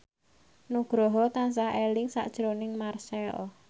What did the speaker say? Nugroho tansah eling sakjroning Marchell